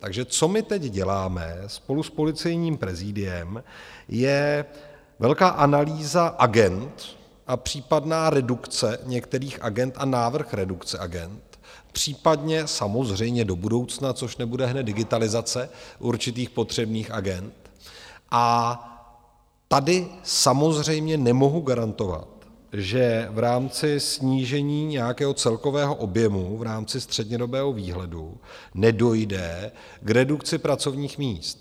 Takže co my teď děláme spolu s policejním prezidiem, je velká analýza agend a případná redukce některých agend a návrh redukce agend, případně samozřejmě do budoucna, což nebude hned digitalizace určitých potřebných agend, a tady samozřejmě nemohu garantovat, že v rámci snížení nějakého celkového objemu v rámci střednědobého výhledu nedojde k redukci pracovních míst.